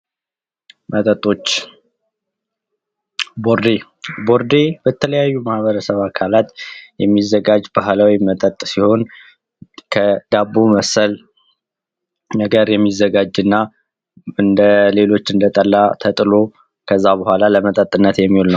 መጠጦች ቦርዴ በተለያዩ ማህበረሰብ አካላት የሚዘጋጅ ባህላዊ መጠጥ ሲሆን ከዳቦ መሰል ነገር የሚዘጋጅና እንደ ሌሎች እንደ ጠላህ ተጥሎ ከዛ በኋላ ለመጠጥነት የሚውል ነው።